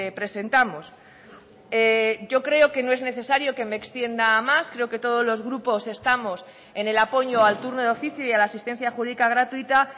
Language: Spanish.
presentamos yo creo que no es necesario que me extienda más creo que todos los grupos estamos en el apoyo al turno de oficio y a la asistencia jurídica gratuita